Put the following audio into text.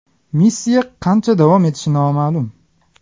Missiya qancha davom etishi noma’lum.